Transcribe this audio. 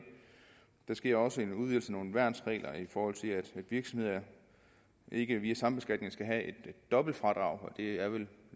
der sker også en udvidelse af nogle værnsregler i forhold til at virksomheder ikke via sambeskatninger skal have et dobbelt fradrag og det er vel